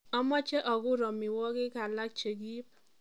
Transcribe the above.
Amache akur amiwogik alak chekiib